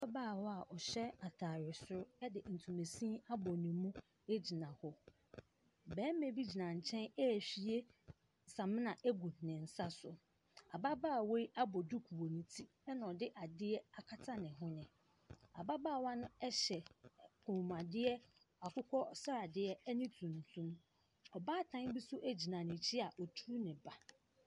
Abaabawa ɔhyɛ ataade soro ɛde ntoma siini abɔ ne mu egyina hɔ. Bɛɛma bi gyina nkyɛn ehwie samina egu ne nsa so. Ababaawa yi abɔ duku wɔ ne ti ena ɔde adeɛ akata ne hwene. Ababaawa no ɛhyɛ kɔn mu adeɛ akokɔ sradeɛ ɛne tuntum. Ɔbaatan bi so egyina n'ekyi a wetru ne ba.